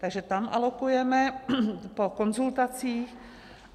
Takže tam alokujeme po konzultacích.